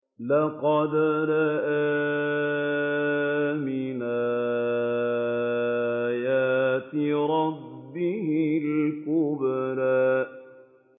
لَقَدْ رَأَىٰ مِنْ آيَاتِ رَبِّهِ الْكُبْرَىٰ